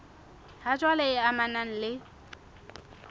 ha jwale e amanang le